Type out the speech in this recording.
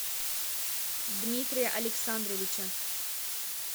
дмитрия александровича